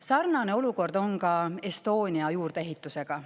Sarnane olukord on ka Estonia juurdeehitisega.